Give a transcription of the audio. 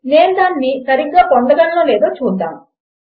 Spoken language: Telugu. నేను దానిని సరిగ్గా పొందగలనో లేదో చూద్దాము